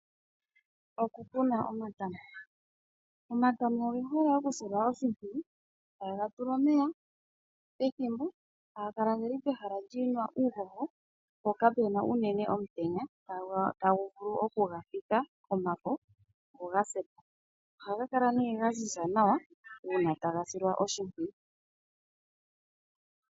Oku kuna Omatama, Omatama oge hole okusilwa oshimpwiyu, taga tulwa omeya pethimbo, taga kala geli pehala li na uuhoho po kapena unene omutenya tagu vulu okugafika komafo go ga se po. Ohaga kala nee ga ziza nawa uuna taga silwa oshimpwiyu.